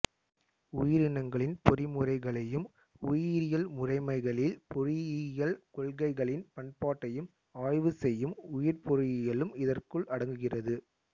உயிரினங்களின் பொறிமுறைகளையும் உயிரியல் முறைமைகளில் பொறியியல் கொள்கைகளின் பயன்பாட்டையும் ஆய்வு செய்யும் உயிர்ப்பொறியியலும் இதற்குள் அடங்குகிறது